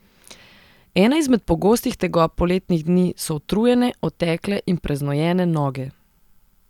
Ena izmed pogostih tegob poletnih dni so utrujene, otekle in preznojene noge.